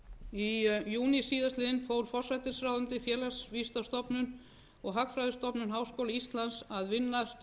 í júní síðastliðinn fól forsætisráðuneytið félagsvísindastofnun og hagfræðistofnun háskóla íslands að vinna